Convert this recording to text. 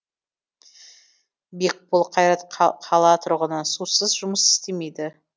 бекбол қайрат қала тұрғыны сусыз жұмыс істемейді